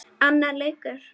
Annar leikur